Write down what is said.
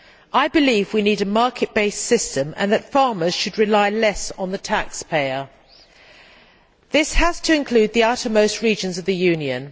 I believe we need a market based system and that farmers should rely less on the taxpayer. This has to include the outermost regions of the Union.